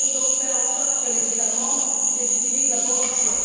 Nous devons donc faire en sorte que les États membres les utilisent à bon escient.